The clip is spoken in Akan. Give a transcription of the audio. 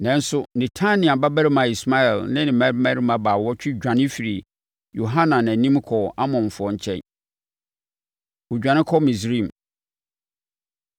Nanso Netania babarima Ismael ne ne mmarima baawɔtwe dwane firii Yohanan anim kɔɔ Amonfoɔ nkyɛn. Wɔdwane Kɔ Misraim